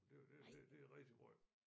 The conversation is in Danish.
Og det det det det er rigtig måj